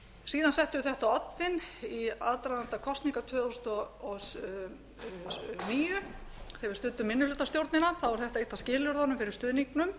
síðan settum við þetta á oddinn í aðdraganda kosninga tvö þúsund og níu þegar við studdum minnihlutastjórnina var þetta eitt af skilyrðunum fyrir stuðningnum